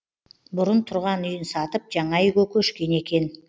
бұрын тұрған үйін сатып жаңа үйге көшкен екен